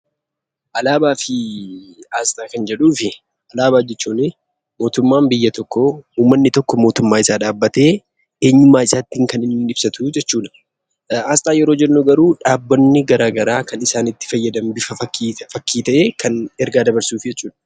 Alaabaa fi aasxaa. Alaabaa jechuun mootummaaa biyya tokkoo uummanni tokko mootummaa isaa dhabbatee eenyummaa isaa kan ibasatu jechuu dha. Aasxaa yeroo jennu garuu dhaabbanni garaa garaa isaan kan itti fayyadaman fakkii ta'ee kan ergaa dabarsuuf jechuu dha.